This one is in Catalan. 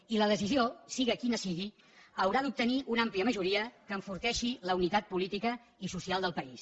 i la decisió sigui quina sigui haurà d’obtenir una àmplia majoria que enforteixi la unitat política i social del país